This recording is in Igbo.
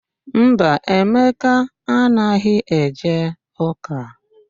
Mba, Emeka anaghị eje ụ́kà.